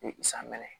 Ni san mɛnna